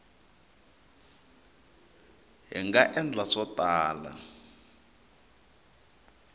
hi nga endla swo tala